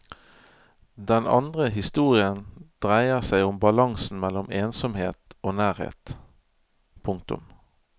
Den andre historien dreier seg om balansen mellom ensomhet og nærhet. punktum